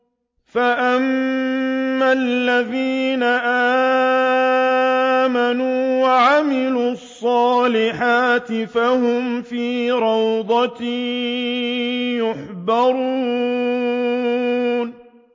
فَأَمَّا الَّذِينَ آمَنُوا وَعَمِلُوا الصَّالِحَاتِ فَهُمْ فِي رَوْضَةٍ يُحْبَرُونَ